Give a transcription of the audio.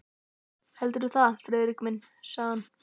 Heldurðu það, Friðrik minn? sagði hann.